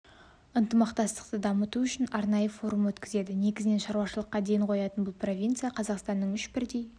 ынтымақтастықты дамыту үшін арнайы форум өткізді негізінен ауылшаруашылыққа ден қоятын бұл провинция қазақстанның үш бірдей